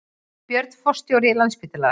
Björn forstjóri Landspítala